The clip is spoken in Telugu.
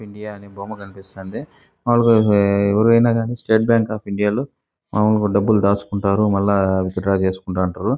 ఇండియా అని బొమ్మ కనిపిస్తుంది. మాములుగా ఎవరైనా గాని స్టేట్ బ్యాంకు అఫ్ ఇండియా లో మాములుగా డబ్బులు దాచుకుంటారు. మల్ల విత్ డ్రా చేసుకుంటూ ఉంటారు.